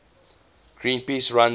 greenpeace runs a